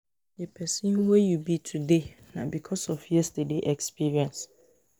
di person wey yu be today na bikos of yestaday experience